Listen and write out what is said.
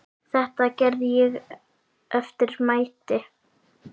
Þetta gerði ég eftir mætti.